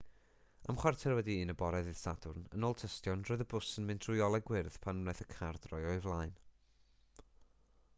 am 1:15 a.m. ddydd sadwrn yn ôl tystion roedd y bws yn mynd trwy olau gwyrdd pan wnaeth y car droi o'i flaen